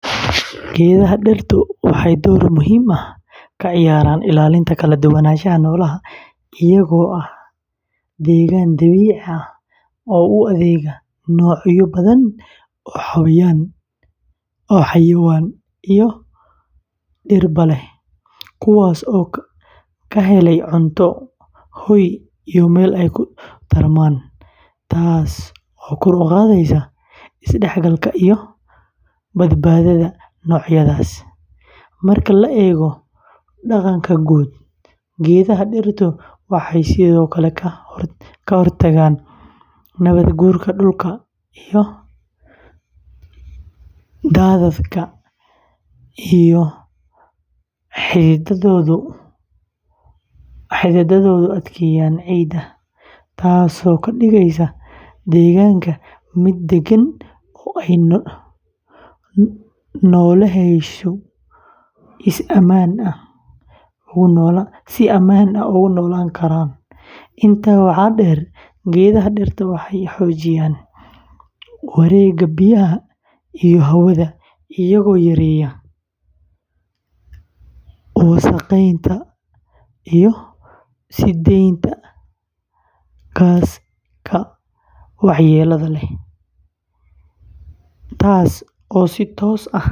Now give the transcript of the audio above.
Geedaha dirtu waxay door muhiim ah ka ciyaaraan ilaalinta kala duwanaanshaha noolaha iyagoo ah deegaan dabiici ah oo u adeegaya noocyo badan oo xayawaan iyo dhirba leh, kuwaas oo ka helaya cunto, hoy iyo meel ay ku tarmaan, taasoo kor u qaadaysa isdhexgalka iyo badbaadada noocyadaas. Marka la eego deegaanka guud, geedaha dirtu waxay sidoo kale ka hortagaan nabaadguurka dhulka iyo daadadka iyadoo xididdadoodu adkeeyaan ciidda, taasoo ka dhigaysa deegaanka mid deggan oo ay nooleyaashu si ammaan ah ugu noolaan karaan. Intaa waxaa dheer, geedaha dirtu waxay xoojiyaan wareegga biyaha iyo hawada iyagoo yareeya wasakheynta iyo sii daynta gaasaska waxyeellada leh, taas oo si toos ah.